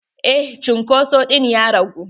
Eh cunkoso ɗin ya ragu.